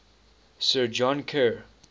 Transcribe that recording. sir john kerr